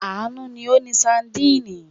Àánú ni ó ni sadínì.